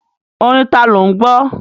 Orin tani ò ń gbọ́?